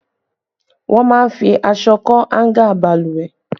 Wọ́n máa ń fi aṣọ kọ́ háńgà Balùwẹ̀